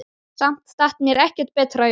Samt datt mér ekkert betra í hug.